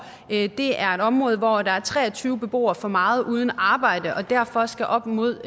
det er et område hvor der er tre og tyve beboere for meget uden arbejde og derfor skal op mod